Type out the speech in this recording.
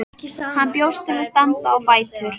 Hann bjóst til að standa á fætur.